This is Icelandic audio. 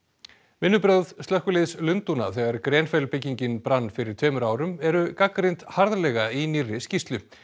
vinnubrögð slökkviliðs Lundúna þegar byggingin brann fyrir tveimur árum eru gagnrýnd harðlega í nýrri skýrslu